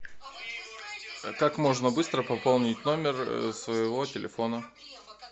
а как можно быстро пополнить номер своего телефона